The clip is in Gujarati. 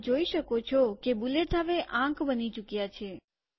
તમે જોઈ શકો છો કે બુલેટ હવે આંક બની ચુક્યા છે